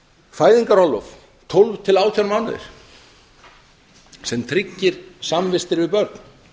fæðingarorlof upp á tólf til átján mánuði sem tryggir samvistir við börn